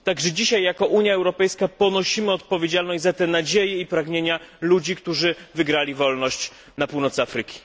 Także dzisiaj jako Unia Europejska ponosimy odpowiedzialność za te nadzieje i pragnienia ludzi, którzy uzyskali wolność na północy Afryki.